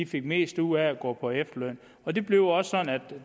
fik mest ud af at gå på efterløn og det blev også sådan at